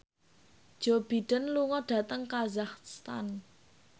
Joe Biden lunga dhateng kazakhstan